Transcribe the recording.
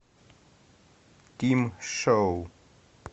тим шоу